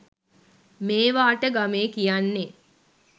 මේවාට ගමේ කියන්නේ